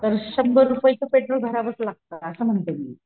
तर शंबर रुपयच पेट्रोल भरावंच लागत असं म्हणते मी